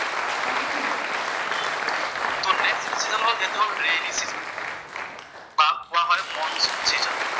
তʼ নেষ্ট যিটো চিজন হʼল সেইটো হʼল ৰেইনী চিজন, তাক কোৱা হয় মনচুন চিজন।